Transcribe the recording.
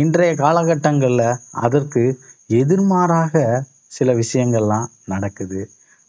இன்றைய காலகட்டங்கள்ல அதற்கு எதிர்மாறாக சில விஷயங்கள்லாம் நடக்குது